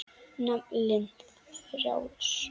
Naflinn frjáls.